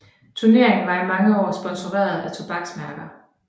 Turneringen var i mange år sponsoreret af tobaksmærker